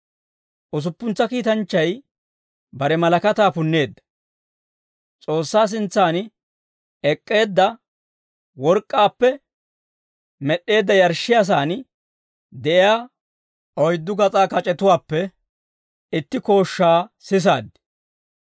Usuppuntsa kiitanchchay bare malakataa punneedda. S'oossaa sintsan ek'k'eedda work'k'aappe med'd'eedda yarshshiyaasaan de'iyaa oyddu gas'aa kac'etuwaappe itti kooshshaa sisaad.